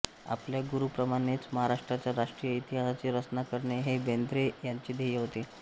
आपल्या गुरुंप्रमाणेच महाराष्ट्राच्या राष्ट्रीय इतिहासाची रचना करणे हे बेंद्रे यांचे ध्येय होते